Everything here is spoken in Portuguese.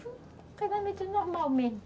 Foi um casamento normal mesmo.